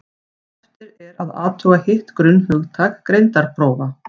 eftir er að athuga hitt grunnhugtak greindarprófa